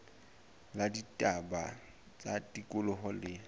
la ditaba tsa tikoloho le